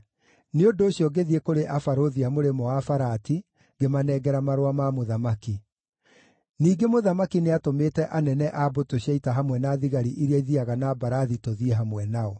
Nĩ ũndũ ũcio ngĩthiĩ kũrĩ abarũthi a Mũrĩmo-wa-Farati, ngĩmanengera marũa ma mũthamaki. Ningĩ mũthamaki nĩatũmĩte anene a mbũtũ cia ita hamwe na thigari iria ithiiaga na mbarathi tũthiĩ hamwe nao.